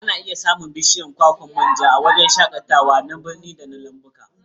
Ana iya samun bishiyar kwakwan manja a wuraren shakatawa na birni da lambuna.